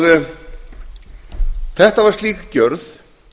óbótamenn þetta var slík gjörð